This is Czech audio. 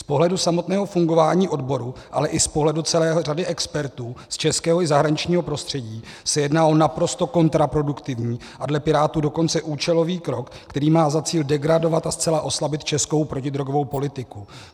Z pohledu samotného fungování odboru, ale i z pohledu celé řady expertů z českého i zahraničního prostředí se jedná o naprosto kontraproduktivní a dle Pirátů dokonce účelový krok, který má za cíl degradovat a zcela oslabit českou protidrogovou politiku.